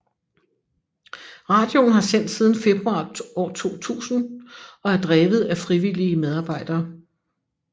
Radioen har sendt siden februar 2000 og er drevet af frivillige medarbejdere